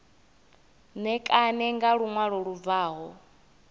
ṋekane nga luṅwalo lu bvaho